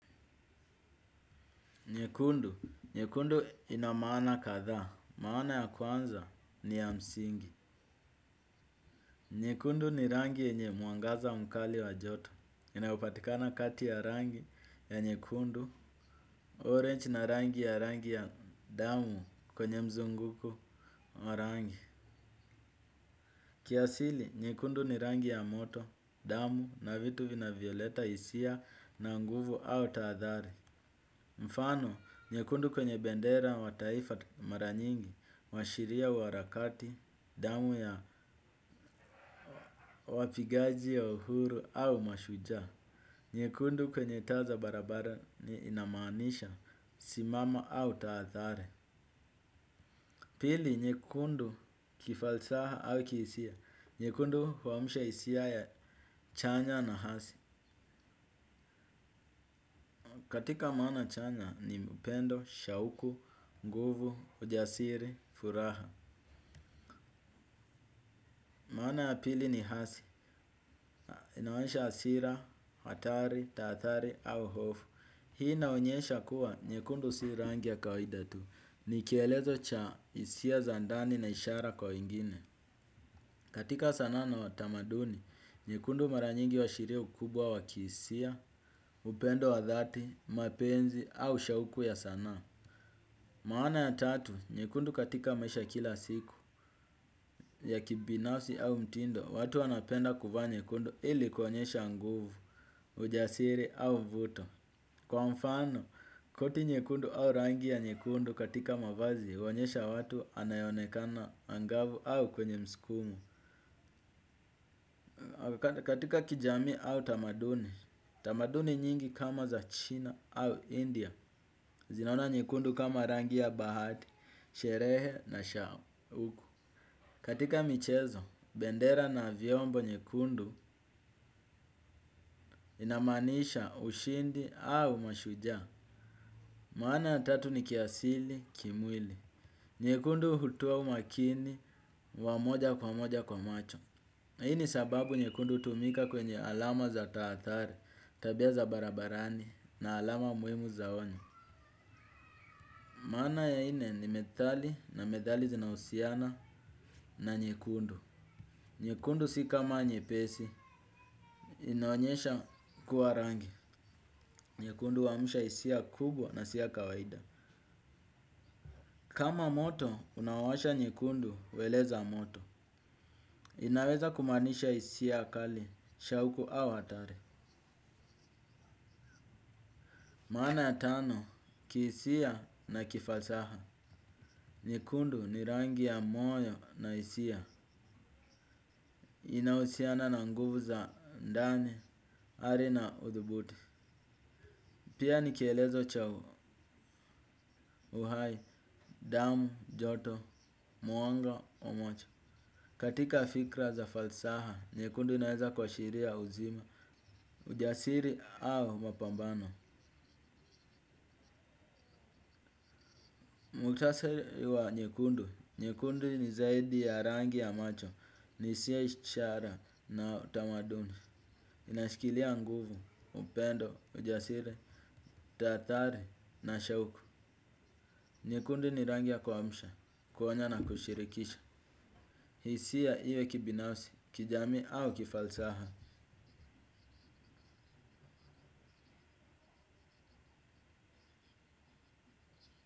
Nyekundu. Nyekundu ina maana kadhaa. Maana ya kwanza ni ya msingi. Nyekundu ni rangi yenye mwangaza mkali wa joto. Inayopatikana kati ya rangi ya nyekundu. Orange na rangi ya rangi ya damu kwenye mzunguko wa rangi. Kiasili, nyekundu ni rangi ya moto, damu na vitu vinavyoleta hisia na nguvu au taadhari. Mfano, nyekundu kwenye bendera wa taifa mara nyingi, huashiria uarakati, damu ya wapigaji ya uhuru au mashujaa. Nyekundu kwenye taa za barabarani inamaanisha simama au tahadhari. Pili, nyekundu kifalsaha au kihisia. Nyekundu huamsha hisia ya chanya na hasi. Katika maana chanya ni upendo, shauku, nguvu, ujasiri, furaha. Maana ya pili ni hasi, inamaanisha hasira, hatari, tahadhari au hofu. Hii inaonyesha kuwa nyekundu si rangi ya kawaida tu. Ni kielezo cha hisia za ndani na ishara kwa wengine. Katika sanaa na utamaduni, nyekundu mara nyingi huashiria ukubwa wa kihisia, upendo wa dhati, mapenzi au shauku ya sanaa. Maana ya tatu, nyekundu katika maisha ya kila siku ya kibinafsi au mtindo, watu wanapenda kuvaa nyekundu ili kuonyesha nguvu, ujasiri au vuto. Kwa mfano, koti nyekundu au rangi ya nyekundu katika mavazi, huonyesha watu anayeonekana angavu au kwenye mskumo. Katika kijamii au tamaduni, tamaduni nyingi kama za China au India, zinaona nyekundu kama rangi ya bahati, sherehe na shauku. Katika michezo, bendera na vyombo nyekundu inamaanisha ushindi au mashujaa. Maana ya tatu ni kiasili, kimwili. Nyekundu hutua umakini, wa moja kwa moja kwa macho. Hii ni sababu nyekundu hutumika kwenye alama za tahadhari, tabia za barabarani na alama muhimu za onyo. Maana ya ine ni methali na methali zinahusiana na nyekundu. Nyekundu si kama nyepesi. Inaonyesha kuwa rangi. Nyekundu huamsha hisia kubwa na si ya kawaida. Kama moto, unaowasha nyekundu, hueleza moto. Inaweza kumaanisha hisia kali, shauku au hatari. Maana ya tano, kihisia na kifalsaha. Nyekundu ni rangi ya moyo na hisia. Inahusiana na nguvu za ndani, hari na udhubuti pia nikelezo cha u uhai, damu, joto, mwanga, umoja katika fikra za falsaha, nyekundu inaweza kuashiria uzima, ujasiri au mapambano. Muktasari wa nyekundu, nyekundu ni zaidi ya rangi ya macho, ni hisia ishara na utamaduni inashikilia nguvu, upendo, ujasiri, tahadhari na shauku nyekundi ni rangi ya kuamsha, kuonya na kushirikisha. Hisia iwe kibinafsi, kijamii au kifalsaha.